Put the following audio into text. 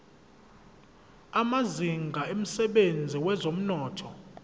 amazinga emsebenzini wezomnotho